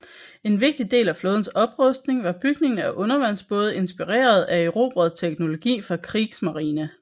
En vigtig del af flådens oprustning var bygningen af undervandsbåde inspireret af erobret teknologi fra Kriegsmarine